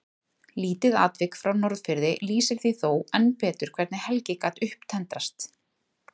Lítið atvik frá Norðfirði lýsir því þó enn betur hvernig Helgi gat upptendrast.